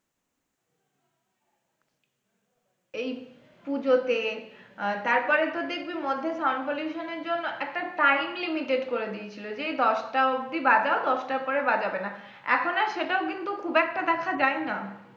এই পুজোতে আর তারপরে তো দেখবি মধ্যে sound pollution এর জন্য একটা time limited করে দিয়েছিল যে এই দশটা অব্দি বাজাও দশটার পরে বাজাবে না এখন আর সেটাও কিন্তু খুব একটা দেখা যায় না